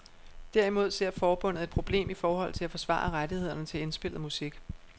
Derimod ser forbundet et problem i forhold til at forsvare rettighederne til indspillet musik.